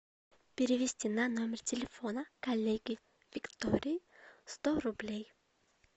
перевести на номер телефона коллеге виктории сто рублей